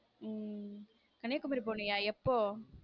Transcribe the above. உம் கன்னியாகுமரி போனியா எப்போ.